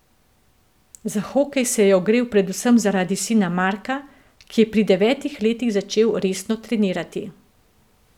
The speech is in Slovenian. Za hokej se je ogrel predvsem zaradi sina Marka, ki je pri devetih letih začel resno trenirati.